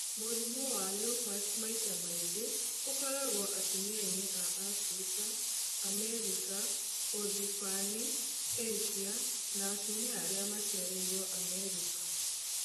Mũrimũ wa lupus maita maingĩ ũkoragwo atumianĩ a Afrika, Amerika, ũthibani, Asia na atumia arĩa maciarĩiro Amerika.